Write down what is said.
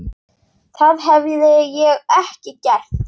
Það hefði ég ekki gert.